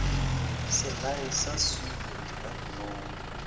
selae sa swiri ka dinong